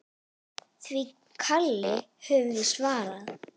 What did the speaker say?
Því kalli höfum við svarað.